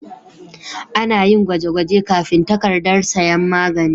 Ana yin gwaje-gwaje kafin takardar sayan magani.